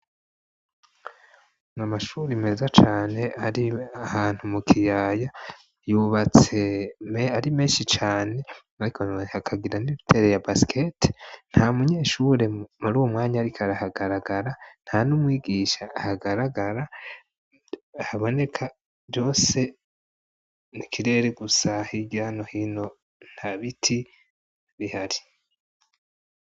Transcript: N'amashuri meza cane ari ahantu mu kiyaya yubatse ari menshi cane icon akagira n'ibitere ya basiketi, nta munyeshure muri uwu mwanya arikari ahagaragara nta n'umwigisha ahagaragara haboneka byose nikirere gusa h igano hino nta biti bihari.